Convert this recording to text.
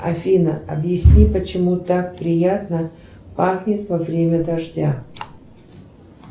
афина объясни почему так приятно пахнет во время дождя